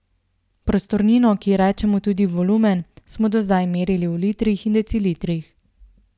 Prostornino, ki ji rečemo tudi volumen, smo do zdaj merili v litrih in decilitrih.